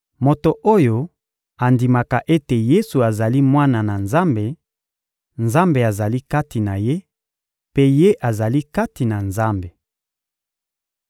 Moto oyo andimaka ete Yesu azali Mwana na Nzambe, Nzambe azali kati na ye, mpe ye azali kati na Nzambe.